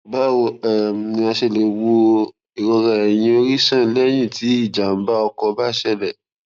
báwo um ni a ṣe lè wo irora eyin ori san lẹyìn tí ijàǹbá ọkọ bá ṣẹlẹ